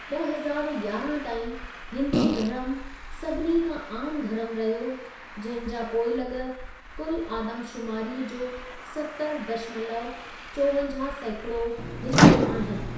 ॿ हज़ारु यारहां ताईं, हिंदू धर्म सभिनी खां आमु धर्मु रहियो, जंहिं जा पोइलॻ कुल आदमशुमारीअ जो सतरि दशमलव चोवंजाहु सैंकड़ों हिस्सो आहिनि।